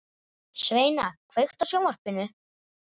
Sveina, kveiktu á sjónvarpinu.